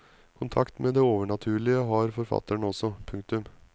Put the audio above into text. Kontakt med det overnaturlig har forfatteren også. punktum